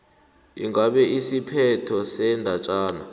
ingabe isiphetho sendatjana